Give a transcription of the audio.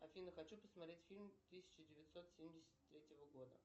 афина хочу посмотреть фильм тысяча девятьсот семьдесят третьего года